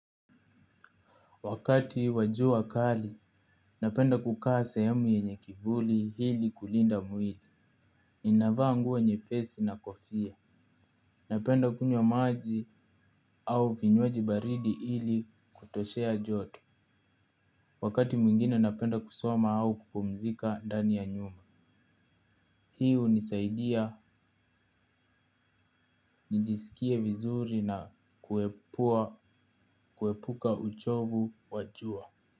Wakati wajua kali, napenda kukaa sehemu yenye kibuli hili kulinda mwili. Ninavaa nguo nye pesi na kofia. Napenda kunywa maji au vinywaji baridi hili kutoshea joto. Wakati mwingine napenda kusoma au kupumzika ndani ya nyumba. Hiu nisaidia nijisikie vizuri na kuepuka uchovu wajua.